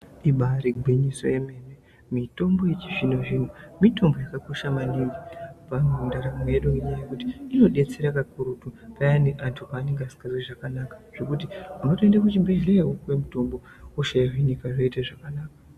Ivaari gwinyiso remene mitombo yechizvino-zvino mitombo yakakosha maningi pandaramo yedu ngekuti inodetsera maningi munthu paanenge asikazwi zvakanaka unotoenda kuchibhedhlera wopiwa mutombo hosha yohinika zvinobva zvaita zvakanaka.